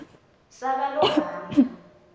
sakalobamba